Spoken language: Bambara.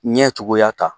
Ɲɛ cogoya ta